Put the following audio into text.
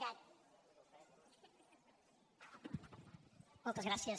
moltes gràcies